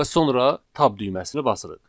Və sonra tab düyməsini basırıq.